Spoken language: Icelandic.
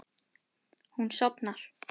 Hún sofnar.